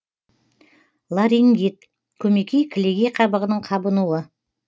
ларингит көмекей кілегей қабығының қабынуы